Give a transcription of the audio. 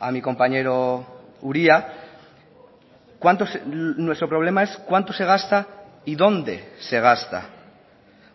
a mi compañero uria nuestro problema es cuánto se gasta y dónde se gasta